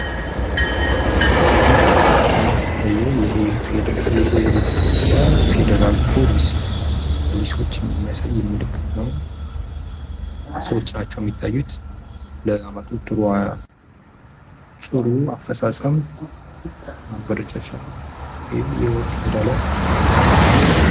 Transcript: በምስሉ ላይ የምንመለከተው የኢትዮጵያ ፈደራል ፖሊሶች የሚያሳይ ምልክት ነው ፤ ሰዎች ናቸው ሚታዩት ፤ ላመጡት ጥሩ አፈጻጸም ማበረቻቻ የወርቅ ሜዳሊያ አግኝተዋል ዋንጫ።